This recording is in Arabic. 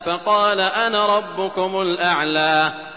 فَقَالَ أَنَا رَبُّكُمُ الْأَعْلَىٰ